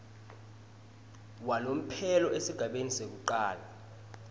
walomphelo esigabeni sekucala